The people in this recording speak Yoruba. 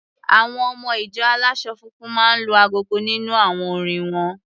Àwọn ọmọ-ìjọ aláṣọ funfun máa ń lu agogo nínú àwọn orin won.